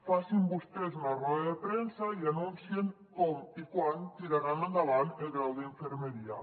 facin vostès una roda de premsa i anunciïn com i quan tiraran endavant el grau d’infermeria